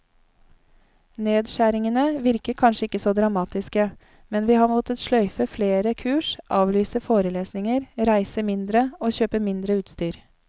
Nedskjæringene virker kanskje ikke så dramatiske, men vi har måttet sløyfe flere kurs, avlyse forelesninger, reise mindre og kjøpe mindre utstyr.